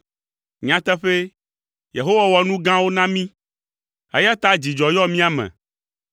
Nyateƒee, Yehowa wɔ nu gãwo na mí, eya ta dzidzɔ yɔ mía me.